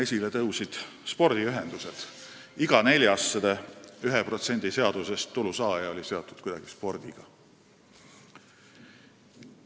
Esile tõusid spordiühendused: iga neljas 1% seadusest tulu saanu oli kuidagi spordiga seotud.